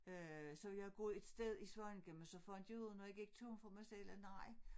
Øh så ville jeg have gået et sted i Svaneke men så fandt jeg ud af når jeg gik turen for mig selv at nej